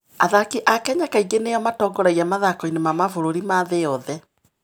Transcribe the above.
Athaki a Kenya kaingĩ nĩo matongoragia mathako-inĩ ma mabũrũri ma thĩ yothe.